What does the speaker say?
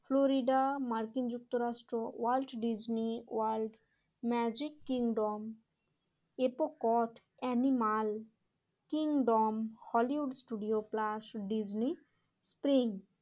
Florida মার্কিন যুক্তরাষ্ট্র world Disney world magic kingdom Epcot animal kingdom Hollywood studio plus Disney springs